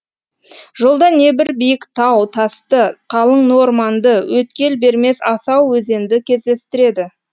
жолда не бір биік тау тасты қалың ну орманды өткел бермес асау өзенді кездестіреді